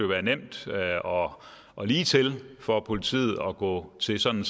være nemt og og ligetil for politiet at gå til sådan